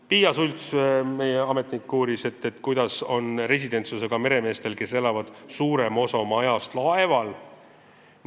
Piia Schults, meie ametnik, uuris, kuidas on residentsusega meremeestel, kes elavad suurema osa oma ajast laeval.